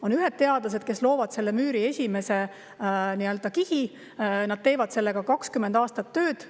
On ühed teadlased, kes laovad müüri esimese kihi, teevad sellega 20 aastat tööd.